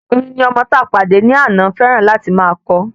Orin ni ọmọ tí a pàdé ní àná fẹràn láti má ko